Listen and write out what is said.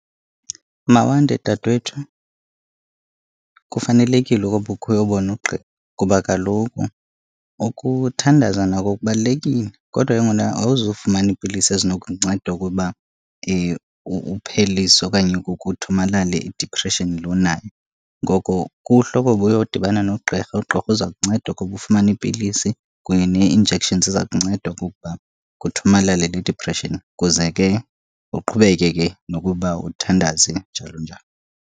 Mawande dadewethu, kufanelekile okokuba ukhe uyobona uqqirha kuba kaloku ukuthandaza nako kubalulekile kodwa ke ngokuna awuzufumana iipilisi ezinokunceda ukuba uphelise okanye kuthomalale idipreshini le unayo. Ngoko kuhle okokuba uyodibana nogqirha. Ugqirha uza kunceda ukuba ufumane iipilisi kunye nee-injection ziza kunceda okokuba kuthomalale le dipreshini, kuze ke uqhubeke ke nokuba uthandaze, njalo njalo.